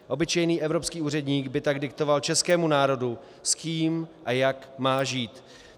Obyčejný evropský úředník by tak diktoval českému národu, s kým a jak má žít.